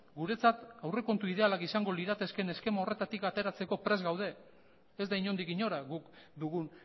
guretzat aurrekontu idealak izango liratezkeen eskema horretatik ateratzeko prest gaude ez da inondik inora guk dugun